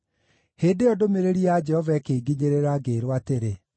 Hĩndĩ ĩyo ndũmĩrĩri ya Jehova ĩkĩnginyĩrĩra, ngĩĩrwo atĩrĩ,